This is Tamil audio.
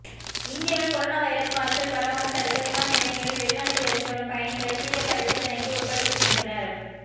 இந்தியாவில் கொரோனா வைரஸ் காய்ச்சல் பரவாமல் தடுக்க விமான நிலையங்களில் வெளிநாட்டில் இருந்து வரும் பயணிகளை தீவிர பரிசோதனைக்கு உட்படுத்துகின்றனர்